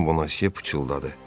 Xanım Bonasiya pıçıldadı.